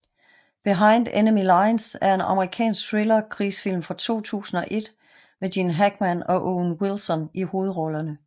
Behind Enemy Lines er en amerikansk thriller krigsfilm fra 2001 med Gene Hackman og Owen Wilson i hovedrollerne